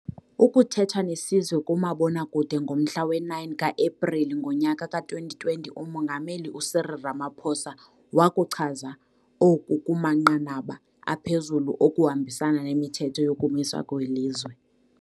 Ukuthetha nesizwe kumabonakude ngomhla we-9 ka-Epreli ngonyaka ka-2020 uMongameli u-Cyril Ramaphosa wakuchaza oku kumanqanaba aphezulu okuhambisana nemithetho yokumiswa kwelizwe.